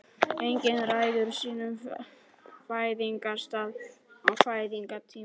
Enginn ræður sínum fæðingarstað og fæðingartíma.